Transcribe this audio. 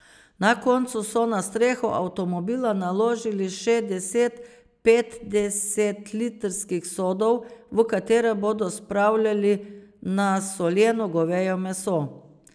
Na koncu so na streho avtomobila naložili še deset petdesetlitrskih sodov, v katere bodo spravljali nasoljeno goveje meso.